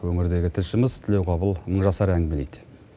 өңірдегі тілшіміз тлеуғабыл нурасар әңгімелейді